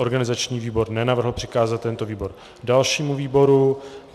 Organizační výbor nenavrhl přikázat tento návrh dalšímu výboru.